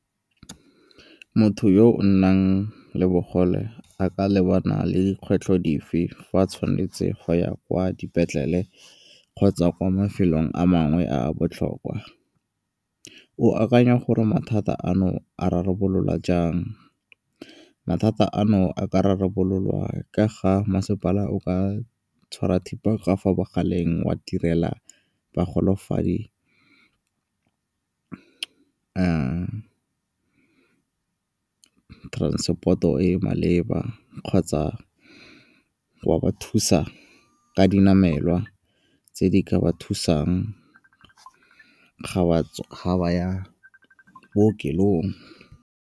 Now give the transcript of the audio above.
Motho yo o nang le bogole a ka lebana le dikgwetlho dife fa a tshwanetse go ya kwa dipetlele kgotsa kwa mafelong a mangwe a a botlhokwa? O akanya gore mathata ano a rarabolola jang? Mathata ano a ka rarabololwa ka ga masepala o ka tshwara thipa ka fo bogaleng wa direla bogolofadi transport-o e e maleba kgotsa wa ba thusa ka dinamelwa tse di ka ba thusang ga ba ya bookelong.